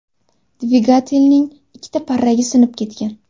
Dvigatelning ikkita parragi sinib ketgan.